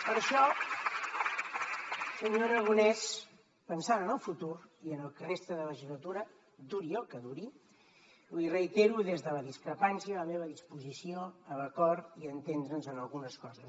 per això senyor aragonès pensant en el futur i en el que resta de legislatura duri el que duri li reitero des de la discrepància la meva disposició a l’acord i a entendre’ns en algunes coses